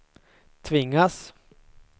tvingas